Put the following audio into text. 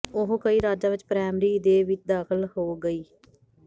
ਉਹ ਕਈ ਰਾਜਾਂ ਵਿੱਚ ਪ੍ਰਾਇਮਰੀ ਦੇ ਵਿੱਚ ਦਾਖ਼ਲ ਹੋ ਗਈ